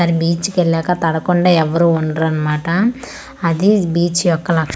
అది బీచ్ కు ఏళ్లక తడవకుండా ఎవ్వరు ఉండరు అన్నమాట అది బీచ్ యొక్క లక --